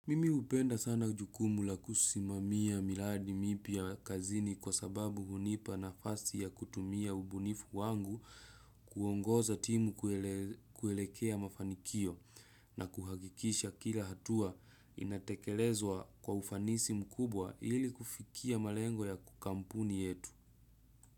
Mimi hupenda sana jukumu la kusimamia miladi mipia kazini kwa sababu hunipa nafasi ya kutumia ubunifu wangu kuongoza timu kuelekea mafanikio na kuhagikisha kila hatua inatekelezwa kwa ufanisi mkubwa ili kufikia malengo yako kampuni yetu.